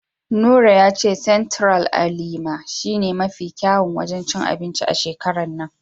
Nura ya ce Sentiral a Lima shi ne mafi kyawun wajen cin anbinci a shekarar nan.